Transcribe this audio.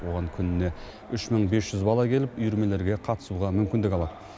оған күніне үш мың бес жүз бала келіп үйірмелерге қатысуға мүмкіндік алады